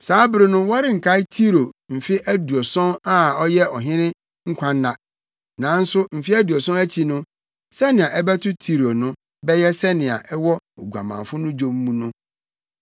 Saa bere no wɔrenkae Tiro mfe aduɔson a ɛyɛ ɔhene nkwanna. Nanso mfe aduɔson akyi no, nea ɛbɛto Tiro no bɛyɛ sɛnea ɛwɔ oguamanfo no dwom mu no: